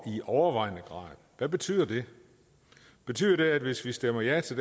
i overvejende grad hvad betyder det betyder det at hvis vi stemmer ja til